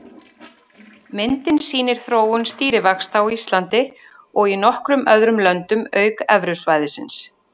Myndin sýnir þróun stýrivaxta á Íslandi og í nokkrum öðrum löndum auk Evrusvæðisins.